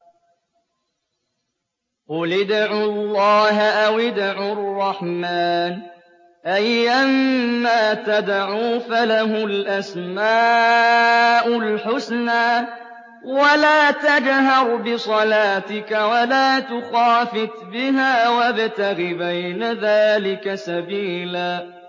قُلِ ادْعُوا اللَّهَ أَوِ ادْعُوا الرَّحْمَٰنَ ۖ أَيًّا مَّا تَدْعُوا فَلَهُ الْأَسْمَاءُ الْحُسْنَىٰ ۚ وَلَا تَجْهَرْ بِصَلَاتِكَ وَلَا تُخَافِتْ بِهَا وَابْتَغِ بَيْنَ ذَٰلِكَ سَبِيلًا